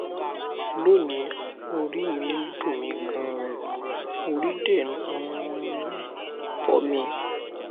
lónìí orí mi ń dunmi ganan ori de um n um fo mi